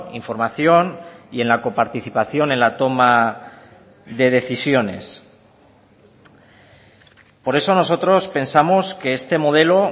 información y en la coparticipación en la toma de decisiones por eso nosotros pensamos que este modelo